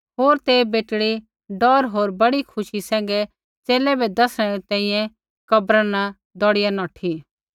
होर तै बेटड़ी डौर होर बड़ी खुशी सैंघै च़ेले बै दैसणै री तैंईंयैं कब्रा न दौड़िया नौठी